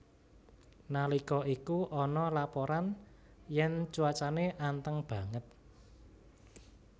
Nalika iku ana laporan yen cuacane anteng banget